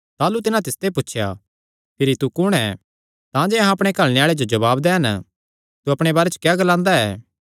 ताह़लू तिन्हां तिसते पुछया भिरी तू कुण ऐ तांजे अहां अपणे घल्लणे आल़ेआं जो जवाब दैन तू अपणे बारे च क्या ग्लांदा ऐ